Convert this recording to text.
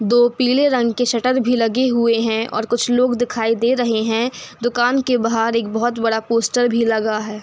दो पीले रंग के शटर भी लगे हुए है और कुछ लोग दिखाई दे रहे हैं। दुकान के बाहर एक बहोत बड़ा पोस्टर भी लगा है।